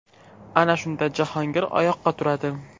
Ana shunda Jahongir oyoqqa turadi.